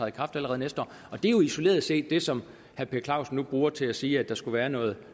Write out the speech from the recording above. i kraft allerede næste år det er jo isoleret set det som herre per clausen nu bruger til at sige at der skulle være noget